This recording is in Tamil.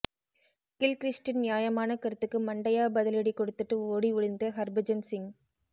கில்கிறிஸ்ட்டின் நியாயமான கருத்துக்கு மண்டையா பதிலடி கொடுத்துட்டு ஓடி ஒளிந்த ஹர்பஜன் சிங்